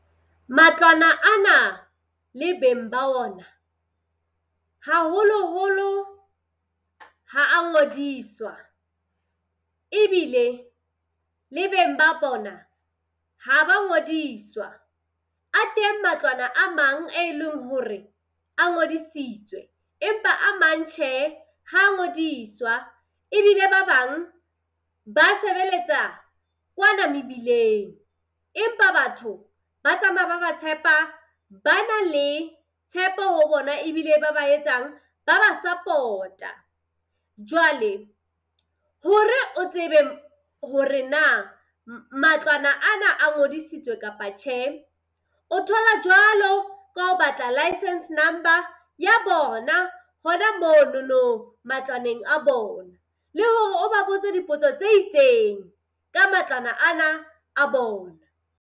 Matlwana a na le beng ba ona, haholoholo ha a ngodiswa ebile le beng ba bona ha ba ngodiswa. A teng matlwana a mang e leng hore a ngodisitswe, empa a mang tjhe ha ngodiswa. Ebile ba bang ba sebeletsa kwana mebileng. Empa batho ba tsamaya ba ba tshepa, ba na le tshepo ho bona ebile ba ba etsang, ba ba support-a. Jwale hore o tsebe hore na matlwana ana a ngodisitswe kapa tjhe, o thola jwalo ka ho batla licence number ya bona hona monono matlwaneng a bona, le hore o ba botse dipotso tse itseng ka matlwana ana a bona.